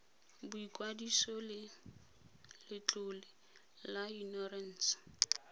boikwadiso le letlole la inorense